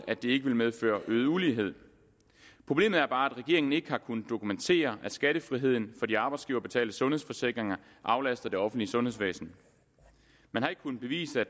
at det ikke ville medføre øget ulighed problemet er bare at regeringen ikke har kunnet dokumentere at skattefriheden for de arbejdsgiverbetalte sundhedsforsikringer aflaster det offentlige sundhedsvæsen man har ikke kunnet bevise at